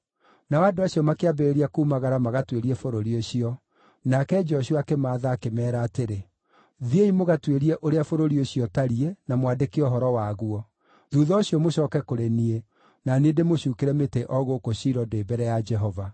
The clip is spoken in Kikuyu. Nao andũ acio makĩambĩrĩria kuumagara magatuĩrie bũrũri ũcio. Nake Joshua akĩmaatha, akĩmeera atĩrĩ, “Thiĩi mũgatuĩrie ũrĩa bũrũri ũcio ũtariĩ na mwandĩke ũhoro waguo. Thuutha ũcio mũcooke kũrĩ niĩ, na niĩ ndĩmũcuukĩre mĩtĩ o gũkũ Shilo ndĩ mbere ya Jehova.”